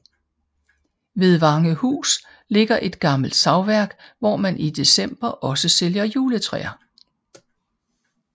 Ved Vangehus ligger et gammelt savværk hvor man i December også sælger juletræer